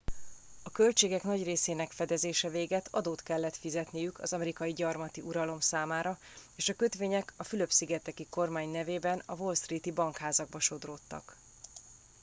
a költségek nagy részének fedezése végett adót kellett fizetniük az amerikai gyarmati uralom számára és a kötvények a fülöp szigeteki kormány nevében a wall street i bankházakba sodródtak